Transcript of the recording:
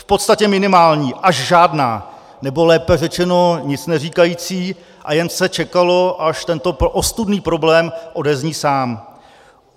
V podstatě minimální až žádná, nebo lépe řečeno nic neříkající a jen se čekalo, až tento ostudný problém odezní sám.